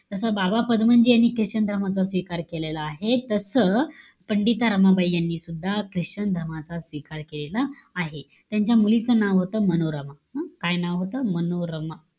तसं, बाबा पदमनजी यांनी ख्रिश्चन धर्माचा स्वीकार केलेला आहे. तसं, पंडिता रमाबाई यांनीसुद्धा ख्रिश्चन धर्माचा स्वीकार केलेला आहे. त्यांच्या मुलीच नाव होतं, मनोरमा. हं? काय नाव होतं? मनोरमा.